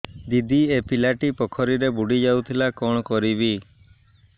ଦିଦି ଏ ପିଲାଟି ପୋଖରୀରେ ବୁଡ଼ି ଯାଉଥିଲା କଣ କରିବି